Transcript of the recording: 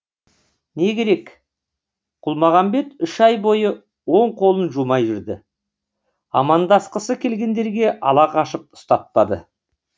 не керек құлмағамбет үш ай бойы оң қолын жумай жүрді амандасқысы келгендерге ала қашып ұстатпады